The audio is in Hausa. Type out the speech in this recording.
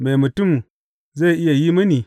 Me mutum zai iya yi mini?